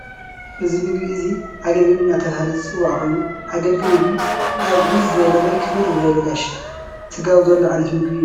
እዚ ምግቢ እዚ ኣገልግል እንዳተባሃለይ ዝፀዋዕ ኮይኑ ኣገልግል ምግቢ ኣብ ዕብይ ዝበለ ወይ ክብር ዝበለ ጋሻ ትጋብዘሉ ዓይነት ምግቢ እዩ።